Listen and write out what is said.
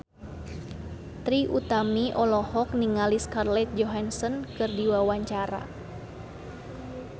Trie Utami olohok ningali Scarlett Johansson keur diwawancara